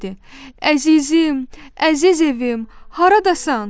Əzizim, əziz evim, haradasan?